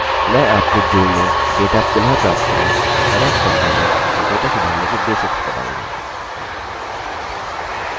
मैं आपको जुड़नेडेटा पुनः प्राप्त करने एरर्स सम्भालने और डेटा सुधारने के बेसिक्स बताऊँगा